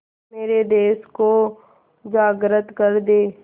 मेरे देश को जागृत कर दें